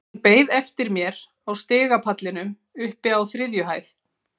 Hún beið eftir mér á stigapallinum uppi á þriðju hæð.